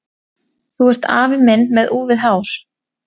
Þú ert afi minn með úfið hár!